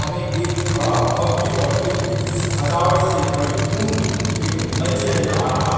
हमें एक बड़ा भव्य और दिव्य स सजावट से परिपूर्ण एक मंच नजर आ रहा है|